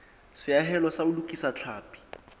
seahelo sa ho lokisa tlhapi